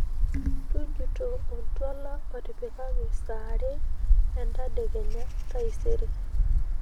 tujuto oltwala otipikaki saa aare endadekenya taisere